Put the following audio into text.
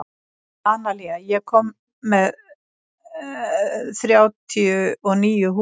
Analía, ég kom með þrjátíu og níu húfur!